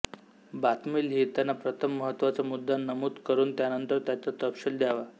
बातमी लिहिताना प्रथम महत्त्वाचा मुद्दा नमूद करून त्यानंतर त्याचा तपशील द्यावा